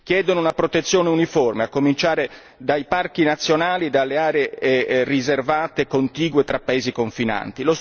Chiedono una protezione uniforme a cominciare dai parchi nazionali, dalle aree riservate e contigue tra paesi confinanti.